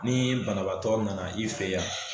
Ni banabaatɔ nana i fe yan